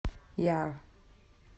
яр